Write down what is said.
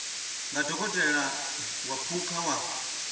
nga dokotela wa phukha wa